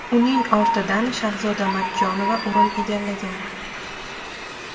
Uning ortidan Shahzoda Matchonova o‘rin egallagan.